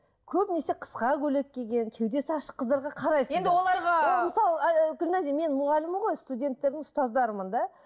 көбінесе қысқа көйлек киген кеудесі ашық қыздарға қарайсыздар енді оларға ол мысалы гүлназия мен мұғаліммін ғой студенттердің ұстаздарымын да